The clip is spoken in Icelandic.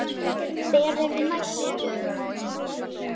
Hver er næstur?